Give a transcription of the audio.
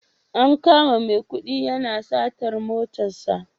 An kama Maikudi yana satar matarsa